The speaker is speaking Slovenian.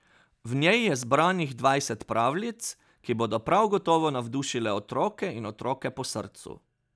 V njej je zbranih dvajset pravljic, ki bodo prav gotovo navdušile otroke in otroke po srcu.